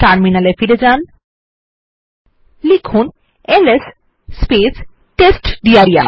terminal ফিরে যান এবং লিখুন এলএস টেস্টডির